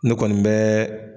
Ne kɔni bɛɛɛ.